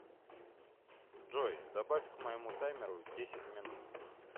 джой добавь к моему таймеру десять минут